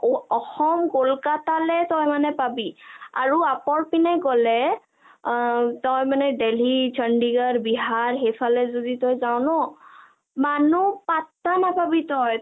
অসম কলকতা লৈ তই মানে পাবি আৰু আপাৰ পিনে গলে অ তই মানে দিল্লী, চণ্ডীগড়, বিহাৰ সেইফালে যদি তই যা ন মানুহ পাত্ৰা নাপাবি তই